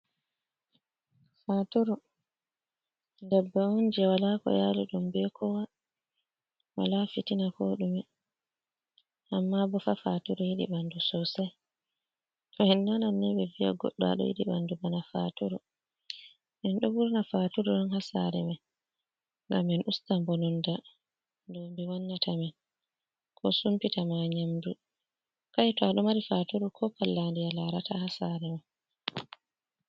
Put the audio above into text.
Faturu ndabbawa onje wala ko yali ɗum be kowa wala fitina ko ɗume, amma bo faa faturu yiɗi ɓandu sosai. Tow en nanan ni ɓeɗo vi’a goɗɗo ado yiɗi ɓandu bana faturu ,enɗo wurna faturu on ha sare man ngam en usta bononda dowmbi wannata amin ko sumpita ma nyamdu kai to aɗo mari faturu ko pallandi a larata ha sare man.